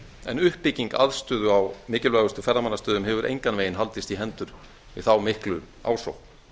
en uppbygging aðstöðu á mikilvægustu ferðamannastöðum hefur engan veginn haldist í hendur við þá miklu ásókn